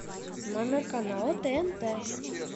номер канала тнт